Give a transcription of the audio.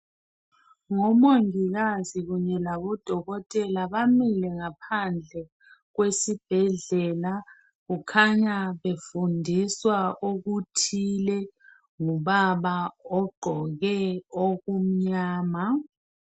Ngomongikazi kunye labododkotela bamile ngaphandle kwesibhedlela kukhanya befundiswa okuthile ngubaba ogqoke okumnyama.